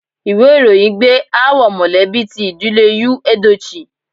Ìwé ìròyìn gbé aáwọ̀ mọ̀lẹ́bí ti ìdílé Yul Edochie.